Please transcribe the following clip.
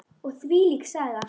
Og þvílík Saga.